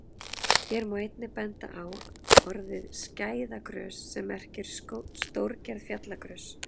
Hér má einnig benda á orðið skæðagrös sem merkir stórgerð fjallagrös.